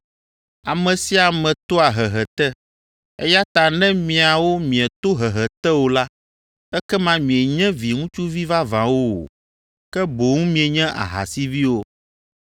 Ame sia ame toa hehe te, eya ta ne miawo mieto hehe te o la, ekema mienye viŋutsuvi vavãwo o, ke boŋ mienye ahasiviwo.